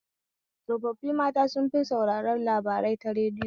Tsofaffin mata sun fi sauraren labarai ta radiyo.